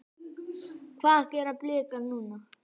Hvað gera Blikar núna?